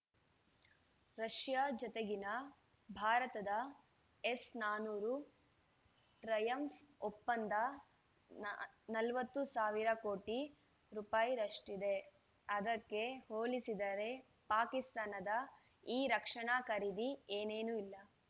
Russia ಜತೆಗಿನ ಭಾರತದ S ನಾನೂರು ಟ್ರಯಂಫ್‌ ಒಪ್ಪಂದ ನ ನಲವತ್ತು ಸಾವಿರ ಕೋಟಿ ರೂಪಾಯಾಷ್ಟಿದ್ದೆ ಅದಕ್ಕೆ ಹೋಲಿಸಿದರೆ ಪಾಕಿಸ್ತಾನದ ಈ ರಕ್ಷಣಾ ಖರೀದಿ ಏನೇನೂ ಅಲ್ಲ